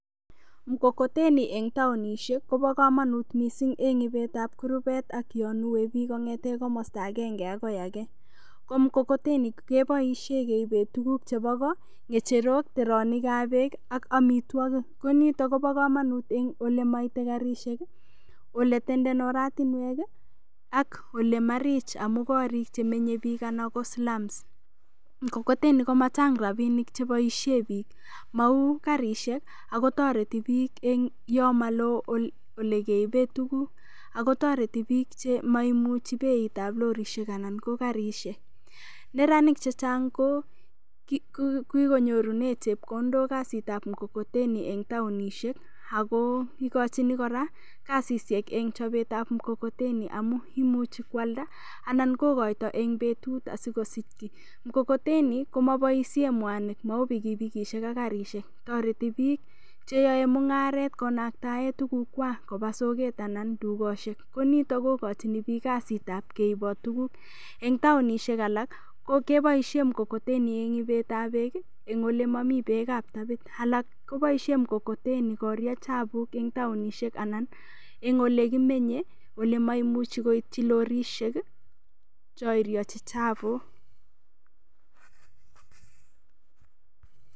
Mkokoteni eng' taonishek kobo kamanut mising' eng' ibetab kurubek ak yonuei biik kong'etkei komostaagenge akoi age ko mkokoteni keboishe keibe tukuk chebo ko ng'echerok teronikab beek ak amitwokik ko nito kobo kamanut eng' ole maitei karishek ole tenden oratinwek ak ole marich amu korik chemenyei biik anan ko slums mkokoteni komachang' rapinik cheboishe biik mau karishek akotoreti biik yo maloo ole keibe tukuk akotoreti biik chemaimuchi beitab lorishek anan ko karishek neranik chechang' ko kikonyorunee chepkondok kasitab mkokoteni eng' taonishek ako ikochin kora kasishek eng' chopetab mkokoteni amu imuchi koalda anan kokoito eng' betut asikosich kii mkokoteni komaboishe mwanik mau pikipikishek ak karishek toreti biik cheyoei mung'aret konaktae tukukwak koba soket anan tugoshek ko nito kokochini biik kasitab keibot tukuk eng' taonishek alak keboishe mkokoteni eng' ibetab beek eng' ole momi beekab tabit alak koboishe mkokoteni koriach chapuk eng' taonishek anan eng' ole kimenye ole maimuchi koityi lorishek cho iriochi chapuk